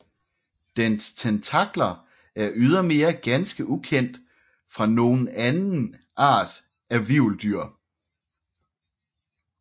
Dens tentakler er ydermere ganske ukendt fra nogen anden art af hvirveldyr